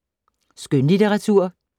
Skønlitteratur